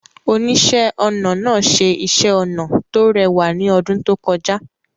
Oníṣẹ́-ọnà náà ṣe iṣẹ́ ọnà tó rẹwà ní ọdún tó kọjá.